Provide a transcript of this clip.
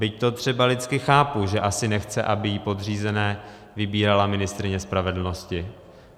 Byť to třeba lidsky chápu, že asi nechce, aby jí podřízené vybírala ministryně spravedlnosti.